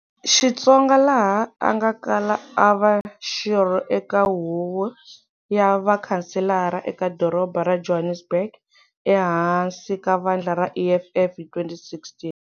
Xitsonga laha a nga kala a va xirho eka huvo ya vakhanselara eka doroba ra Johannesburg ehansi ka vandla ra EFF hi 2016.